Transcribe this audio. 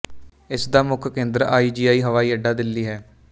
ਇਸ ਦਾ ਮੁੱਖ ਕੇਂਦਰ ਆਈ ਜੀ ਆਈ ਹਵਾਈਅੱਡਾ ਦਿੱਲੀ ਹੈ